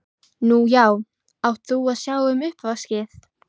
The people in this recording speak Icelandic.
Nú já, átt þú að sjá um uppvaskið?